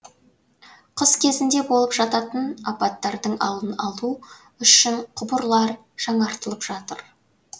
қыс кезінде болып жататын апаттардың алдын алу үшін құбырлар жаңартылып жатыр